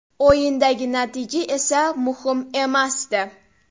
O‘yindagi natija esa muhim emasdi.